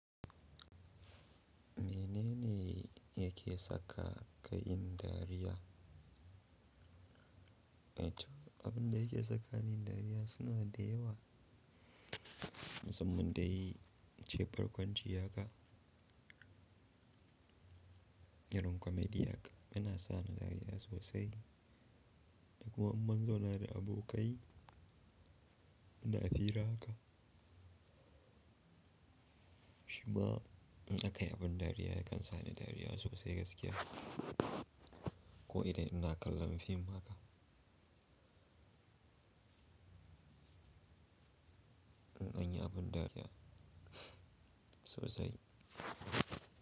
Menene yake sa ka kayii dariya? Abinda yake saka ni yin dariya suna da yawa. Musamman dai in ce farkon jiya ka, irin comedy haka, yana sa ni dariya sosai. Da kuma in mun zauna da abokai, muna fira haka. Shima in aka yi abin dariya yakan sa ni dariya sosai gaskiya. Ko idan ina kallon fim haka. In anyi abin dariya sosai.